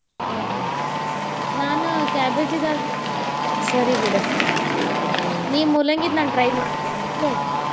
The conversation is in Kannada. ಹೋ ಹೋ ನಾನ್ cabbage ದಾಗ ಸರಿ ಬಿಡ ನಿಂದ ಮೂಲಂಗಿದ try ಮಾಡ್ತೇನಿ okay .